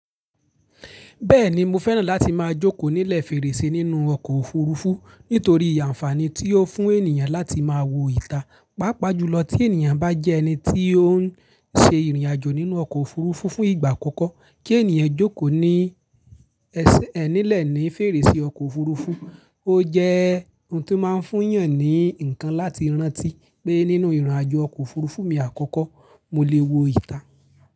Bẹ́ẹ̀ni, mo fẹ́ràn láti máa jókòó nílẹ̀ fèrèsé nínú ọkọ̀ òfurufú nítorí ànfàní tí ó fún ènìyàn láti máa wo ìta. Pápá jùlọ tí ènìyàn bá jẹ́ ẹni tí ó ń ṣe ìrìnàjò nínú ọkọ̀ òfurufú fún ìgbà àkọ́kọ́, kí ènìyàn jókòó ní, nílẹ̀ ní fèrèsé ọkọ̀ òfurufú ó jẹ́ ohun tí ó máa ń fún èyàn ní ǹkan láti rántí pé nínú ìrìnàjò ọkọ̀ òfurufú mi àkọ́kọ́, mo lè wo ìta.